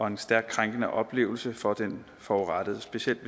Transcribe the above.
en stærkt krænkende oplevelse for den forurettede specielt